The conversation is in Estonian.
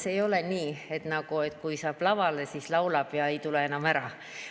See ei ole nii, et kui saab lavale, siis laulab ja ei tule enam ära.